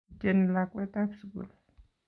Ityeni lakwet tab sugul